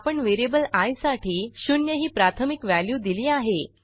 आपण variable I साठी शून्य ही प्राथमिक व्हॅल्यू दिली आहे